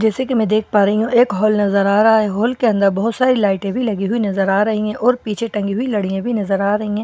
जैसे कि मैं देख पा रही हूं एक हॉल नजर आ रहा है हॉल के अंदर बहुत सारे लाइटें भी लगी हुई नजर आ रही है और पीछे टंगी हुई लडि़या भी नजर आ रही है सामने बहुत सा--